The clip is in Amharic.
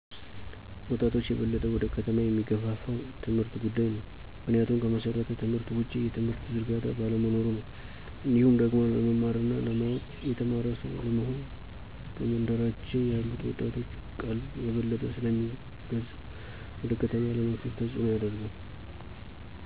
ወጣቾችን የበለጠ ወደ ከተማ የሚገፋፋው የትምህርት ጉዳይ ነው። ምክንያቱም ከመሠረተ ትምህርት ውጪ የትምህርት ዝርጋታ ባለመኖሩ ነው። እንዲሁም ደግሞ ለመማር እና ለማወቅ (የተማረ ሰው) ለመሆን በመንደራችን ያሉት ወጣቶችን ቀልብ የበለጠ ስለሚገዛ ወደ ከተማ ለመፍለስ ተጽኖን ያደርጋል።